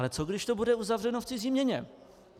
Ale co když to bude uzavřeno v cizí měně?